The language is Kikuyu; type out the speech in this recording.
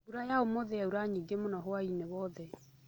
Mbura ya ũmũthĩ yaura nyingi mũno hwaĩnĩ wothe